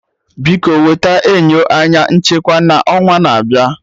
Biko wete enyo anya nchekwa na onwa na abịa